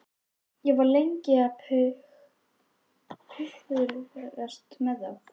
Ég var lengi að pukrast með þá.